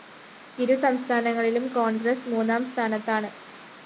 ഇരു സംസ്ഥാനങ്ങളിലും കോണ്‍ഗ്രസ് മൂന്നാം സ്ഥാനത്താണ്